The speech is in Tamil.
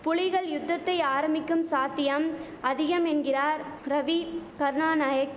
புலிகள் யுத்தத்தை ஆரம்பிக்கும் சாத்தியம் அதிகம் என்கிறார் ரவி கருணாநாயக்